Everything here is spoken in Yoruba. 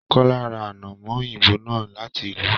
Kọla ra anamọ òyìnbó náà láti ìlú.